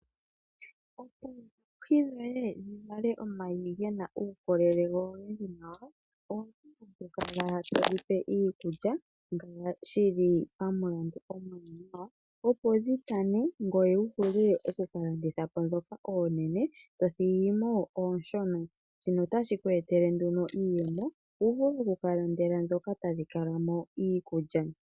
Opo oohi dhoye dhi vale omayi gena uukolele go ogendji nawa, owuna oku kala todhipe iikulya ngaashi shili pamulandu omwaanawa opo dhi tane ngoye wu vule oku landitha po dhoka oonene, ngoye to thigimo onshona. Shino otashi kupe iiyemo wu vule oku ka landela dhoka onshona.